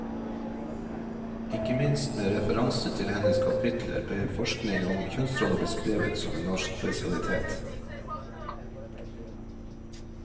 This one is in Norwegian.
Ikke minst med referanse til hennes kapitler ble forskning om kjønnsroller beskrevet som en norsk spesialitet.